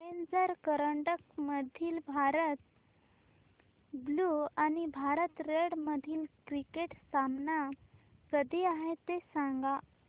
challenger करंडक मधील Bharat blue आणि भारत रेड मधील क्रिकेट सामना कधी आहे ते सांगा